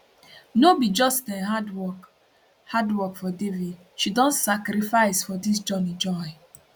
no be just um hard work hard work for devi she don sacrifice for dis journey join